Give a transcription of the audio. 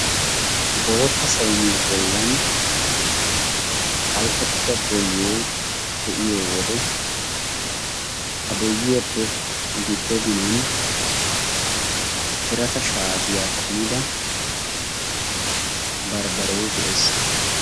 Bootta sayniya bollan phalqqettida boyyee de'iyo wode ha boyyiyappe giddo ginan birata shaatiya kumida barbbaree de'es.